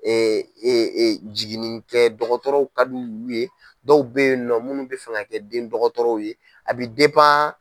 Jiginin kɛ dɔgɔtɔrɔ ka d'ulu ye dɔw bɛ ye nɔ munnu bɛ fɛ ka kɛ den dɔgɔtɔrɔw ye a bɛ